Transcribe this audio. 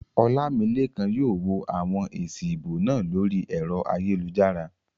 Olamilekan yóò wo àwọn èsì ìbò náà lórí ẹ̀rọ ayélujára